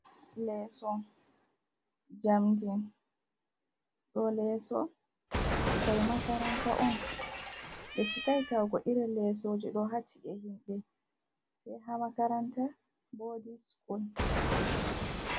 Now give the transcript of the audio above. Leeso jamndi, ɗo leso ɓikkoi makaranta on ɓe chikai tawugo irin lesoji ɗo ha ci'e himɓe, se ha makaranta boding school.